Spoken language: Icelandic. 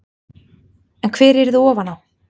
En hver yrði ofan á?